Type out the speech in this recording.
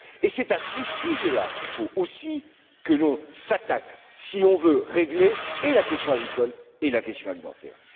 C'est à ce sujet là qu'il faut aussi que l'on s'attaque si l'on veut régler et la question agricole et la question alimentaire.